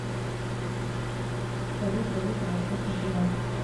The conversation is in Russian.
салют валюта восточный тимор